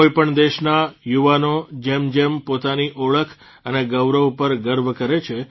કોઇપણ દેશના યુવાનો જેમ જેમ પોતાની ઓળખ અને ગૌરવ ઉપર ગર્વ કરે છે